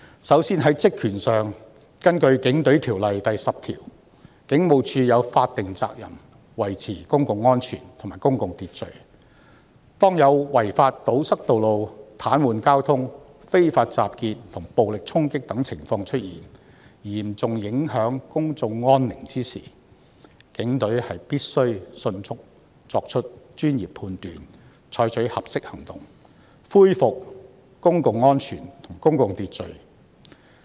首先，在職權上，根據《警隊條例》第10條，警務處有法定責任維持公共安全和公共秩序，當有違法堵塞道路、癱瘓交通、非法集結及暴力衝擊等情況出現，嚴重影響公眾安寧時，警隊必須迅速作出專業判斷，採取合適行動，恢復公共安全和公共秩序。